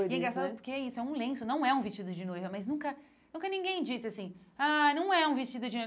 né E é engraçado porque é isso é um lenço, não é um vestido de noiva, mas nunca nunca ninguém disse assim, ah, não é um vestido de